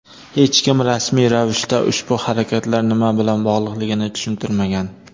Hech kim rasmiy ravishda ushbu harakatlar nima bilan bog‘liqligini tushuntirmagan.